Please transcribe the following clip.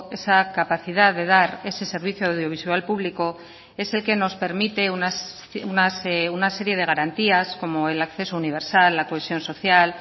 esa capacidad de dar ese servicio audiovisual público es el que nos permite una serie de garantías como el acceso universal la cohesión social